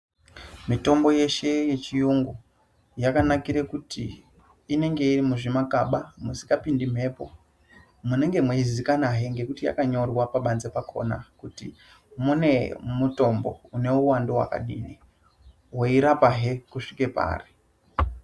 Mitombo yeshe yechiyungu, yakanakire kuti inenge iri muzvimakaba musikapindi mhepo munenge mweizikanwahe ngekuti yakanyorwa pabanze pakhona kuti mune mutombo une uwandu wakadini weirapahe kusvika pari.